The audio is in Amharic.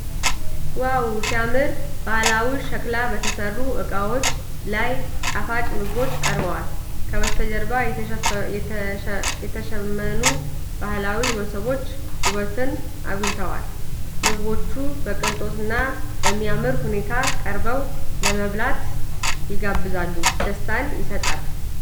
ዋው ሲያምር! ባህላዊ ሸክላ በተሰሩ ዕቃዎች ላይ ጣፋጭ ምግቦች ቀርበዋል። ከበስተጀርባ የተሸመኑ የባህል መሶቦች ውበቱን አጉልተዋል ። ምግቦቹ በቅንጦትና በሚያምር ሁኔታ ቀርበው ለመብላት ይጋብዛሉ። ደስታን ይሰጣል ።